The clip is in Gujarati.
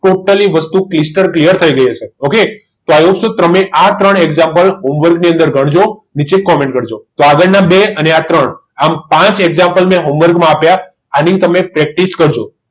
પહેલી વસ્તુ stal clear થઈ ગઈ હશે ઓકે તો તમને આ ત્રણ example ની અંદર ગણજો નીચે comment કરજો તો આગળના બે અને આ ત્રણ ટોટલ પાંચ example મેં home work માં આપ્યા આની તમે practice કરજો